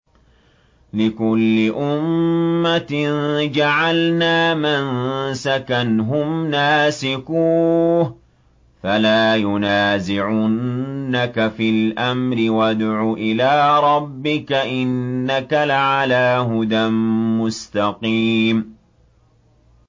لِّكُلِّ أُمَّةٍ جَعَلْنَا مَنسَكًا هُمْ نَاسِكُوهُ ۖ فَلَا يُنَازِعُنَّكَ فِي الْأَمْرِ ۚ وَادْعُ إِلَىٰ رَبِّكَ ۖ إِنَّكَ لَعَلَىٰ هُدًى مُّسْتَقِيمٍ